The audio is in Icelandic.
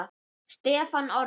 Stefán Orri.